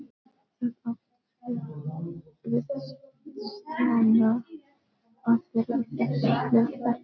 Það átti vel við Stjána að vera í þessu hlutverki.